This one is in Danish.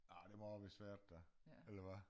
Ah det var vist svært da eller hvad